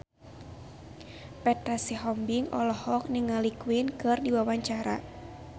Petra Sihombing olohok ningali Queen keur diwawancara